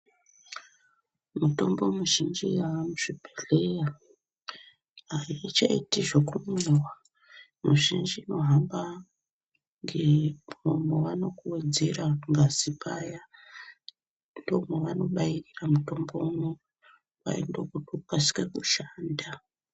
Mitombo muzhinji yaamuzvibhedhleya, aichaiti zvekumwiwa. Mizhinji inohamba ngemwaanokuwedzera ngazi paya, ndomwavanobairira mitombo unowu, kwai ndokuti ukasike kushanda.